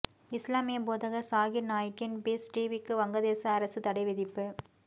இஸ்லாமிய போதகர் சாகிர் நாய்க்கின் பீஸ் டிவிக்கு வங்கதேச அரசு தடை விதிப்பு